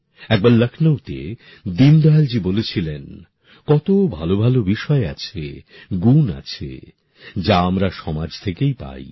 একবার লখনউতে দীনদয়ালজী বলেছিলেন কত ভাল ভাল বিষয় আছে গুণ আছে যা আমরা সমাজ থেকেই পাই